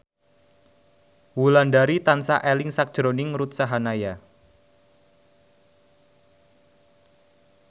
Wulandari tansah eling sakjroning Ruth Sahanaya